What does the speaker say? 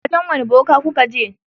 Wajen wane boka kuka je?